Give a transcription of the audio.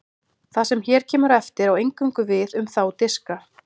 það sem hér kemur á eftir á eingöngu við um þá diska